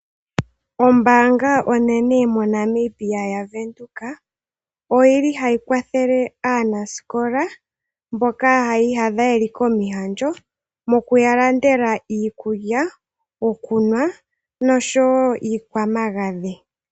Ombaanga onene moNamibia yaVenduka oyili hayi kwathele aanasikola mboka, haya iyadha yeli momihandjo mokuya landela, iikulya, iikulya niikwamagadhi.